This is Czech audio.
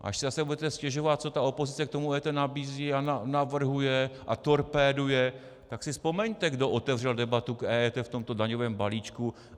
Až si zase budete stěžovat, co ta opozice k tomu EET nabízí a navrhuje a torpéduje, tak si vzpomeňte, kdo otevřel debatu k EET v tomto daňovém balíčku.